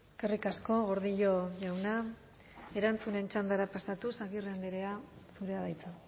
eskerrik asko gordillo jauna erantzunen txandara pasatuz agirre andrea zurea da hitza